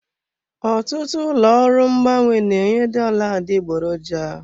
Ọtụtụ ụlọ ọrụ mgbanwe na-enye dollar adịgboroja.